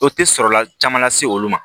O tɛ kɔlɔlɔ caman lase olu ma